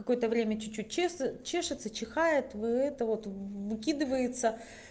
какое-то время чуть-чуть чешется чихает вы этого выкидывается